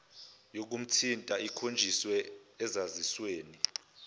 yokumthinta ikhonjiswe esazisweni